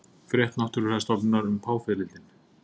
Frétt Náttúrufræðistofnunar um páfiðrildin